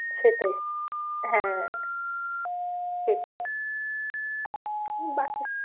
সেটাই হ্যাঁ সেটাই